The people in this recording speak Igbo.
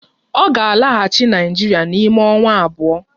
Ọ ga-alaghachi Naịjirịa n'ime ọnwa abụọ